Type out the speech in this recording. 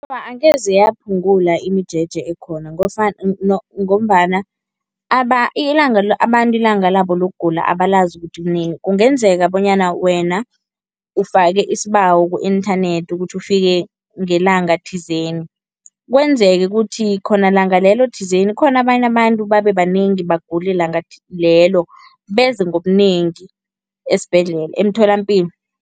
Awa, angeze yaphungula imijeje ekhona ngombana ilanga abantu ilanga labo lokugula abalazi ukuthi kunini. Kungenzeka bonyana wena ufake isibawo ku-inthanethi ukuthi ufike ngelanga thizeni, kwenzeke ukuthi khona langa lelo thizeni khona abanye abantu babebanengi bagule langa lelo beze ngobunengi esibhedlela emtholampilo.